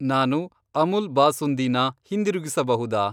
ನಾನು ಅಮುಲ್ ಬಾಸುಂದಿ ನ ಹಿಂದಿರುಗಿಸಬಹುದಾ?